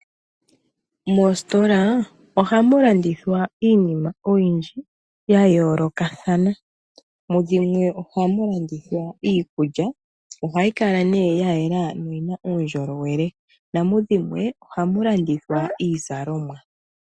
Moositola ohamu landithwa iinima oyindji ya yoolokathana. Mudhimwe ohamu landithwa iikulya, ohayi kala nee ya yela noyina uundjolowele namudhimwe ohamu landithwa iizalomwa.